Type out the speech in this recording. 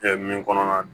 min kɔnɔna na